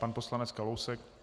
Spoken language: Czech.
Pan poslanec Kalousek.